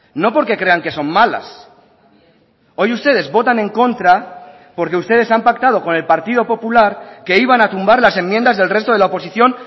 no porque crean que son malas hoy ustedes votan en contra porque ustedes han pactado con el partido popular que iban a tumbar las enmiendas del resto de la oposición